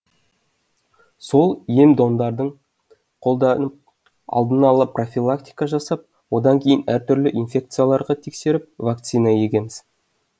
сол ем домдарын қолданып алдын ала профилактика жасап одан кейін әртүрлі инфекцияларға тексеріп вакцина егеміз